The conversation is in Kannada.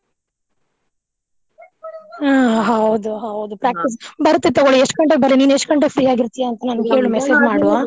ಹ್ಮ ಹೌದು ಹೌದು practice ಬರುತ್ತೆ ತುಗೋಳಿ ಎಷ್ಟು ಗಂಟೆಕ ಬರ್ಲಿ ನಿನ್ ಎಷ್ಟು ಗಂಟೆಗ್ free ಆಗಿರ್ತಿಯಾ ಅಂತ ನಂಗೆ ಹೇಳು message ಮಾಡು